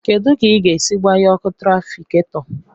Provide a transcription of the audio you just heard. Kedu ka ị ga-esi gbanye ọkụ tràfikáto